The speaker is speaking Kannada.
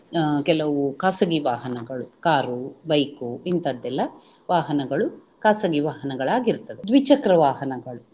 ಅಹ್ ಕೆಲವು ಖಾಸಗಿ ವಾಹನಗಳು ಕಾರು, ಬೈಕು ಇಂತದ್ದೆಲ್ಲಾ ವಾಹನಗಳು ಖಾಸಗಿ ವಾಹನಗಳಾಗಿರುತ್ತದೆ ದ್ವಿಚಕ್ರ ವಾಹನಗಳು